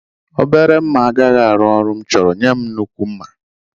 Obere mma agaghị arụ ọrụ m chọrọ, nye m nnukwu mma